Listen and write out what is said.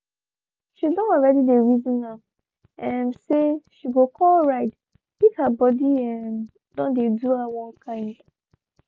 she don already reason am um say she go call ride if hey body um don dey do her one kind